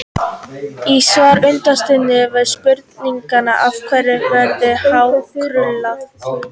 Í svari undirritaðs við spurningunni: Af hverju verður hár krullað?